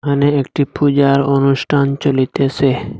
এখানে একটি পূজার অনুষ্ঠান চলিতেসে।